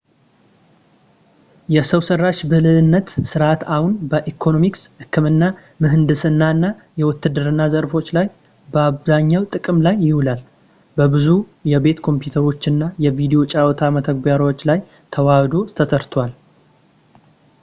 የሰው ሠራሽ ብልህነት ሥርዓት አሁን በኢኮኖሚክስ፣ ሕክምና ፣ ምህንድስና እና የውትድርና ዘርፎች ላይ በአብዛኛው ጥቅም ላይ ይውላል፤ በብዙ የቤት ኮምፒውተሮች እና የቪዲዮ ጨዋታ መተግበሪያዎች ላይም ተወህዶ ተሠርቷል